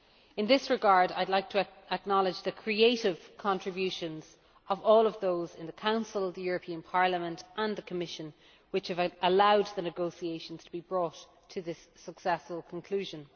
In this regard I would like to acknowledge the creative contributions of all those in the Council, the European Parliament and the Commission, which have allowed the negotiations to be brought to this successful conclusion.